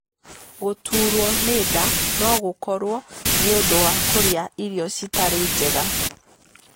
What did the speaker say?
Gũtuurwo nĩ nda no gũkorwo nĩ ũndũ wa kũrĩa irio citarĩ njega.